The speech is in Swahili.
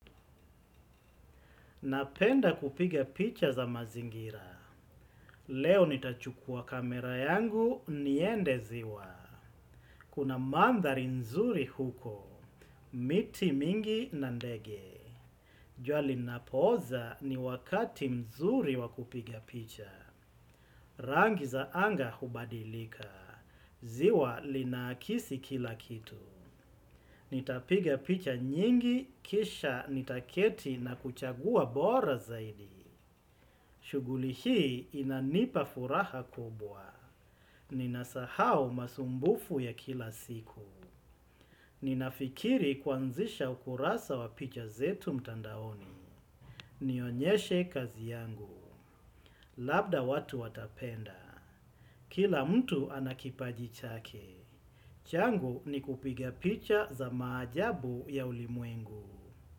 Napenda kupiga picha za mazingira. Leo nitachukua kamera yangu niende ziwa. Kuna mandhari nzuri huko. Miti mingi na ndege. Jua linapoza ni wakati mzuri wakupiga picha. Rangi za anga hubadilika. Ziwa linakisi kila kitu. Nitapiga picha nyingi, kisha nitaketi na kuchagua bora zaidi. Shughuli hii inanipa furaha kubwa. Ninasahau masumbufu ya kila siku. Ninafikiri kuanzisha ukurasa wa picha zetu mtandaoni. Nionyeshe kazi yangu. Labda watu watapenda. Kila mtu anakipaji chake. Changu ni kupigia picha za maajabu ya ulimwengu.